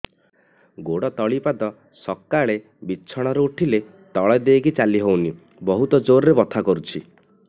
ଗୋଡ ତଳି ପାଦ ସକାଳେ ବିଛଣା ରୁ ଉଠିଲେ ତଳେ ଦେଇକି ଚାଲିହଉନି ବହୁତ ଜୋର ରେ ବଥା କରୁଛି